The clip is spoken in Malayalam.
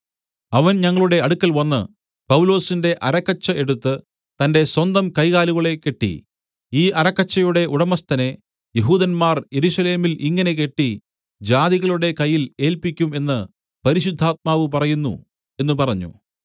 അവൻ ഞങ്ങളുടെ അടുക്കൽവന്ന് പൗലൊസിന്റെ അരക്കച്ച എടുത്ത് തന്റെ സ്വന്തം കൈകാലുകളെ കെട്ടി ഈ അരക്കച്ചയുടെ ഉടമസ്ഥനെ യെഹൂദന്മാർ യെരൂശലേമിൽ ഇങ്ങനെ കെട്ടി ജാതികളുടെ കയ്യിൽ ഏല്പിക്കും എന്ന് പരിശുദ്ധാത്മാവ് പറയുന്നു എന്നു പറഞ്ഞു